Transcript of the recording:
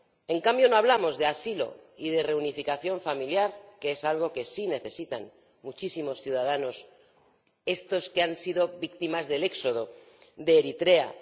En cambio, no hablamos de asilo y de reunificación familiar, que es algo que sí necesitan muchísimos ciudadanos, esos que han sido víctimas del éxodo de Eritrea.